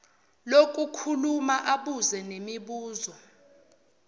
lokukhuluma abuze nemibuzo